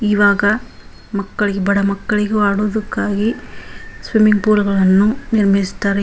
ಇವಾಗ ಮಕ್ಕಳು ಬಡ ಮಕ್ಕಳು ಆಡುವುದಕ್ಕಾಗಿ ಸ್ವಿಮ್ಮಿಂಗ್ ಪೂಲ್ ಗಳನ್ನೂ ನಿರ್ಮಿಸಿದ್ದಾರೆ .